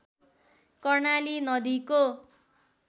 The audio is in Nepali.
कर्णाली नदीको